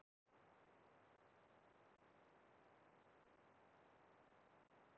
Hvaða fossa ætlum við að virkja og hvaða fossa ætlum við að vernda?